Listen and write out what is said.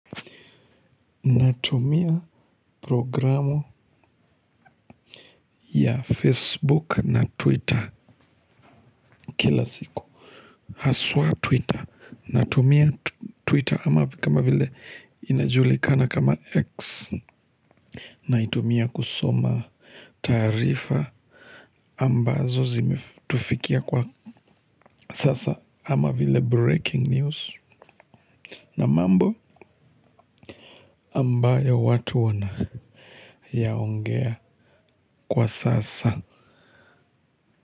Natumia programu ya Facebook na Twitter kila siku. Haswaa Twitter. Natumia Twitter ama kama vile inajulikana kama X. Naitumia kusoma taarifa ambazo zimetufikia kwa sasa ama vile breaking news. Na mambo ambayo watu wana yaongea kwa sasa.